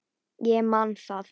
Ég man það.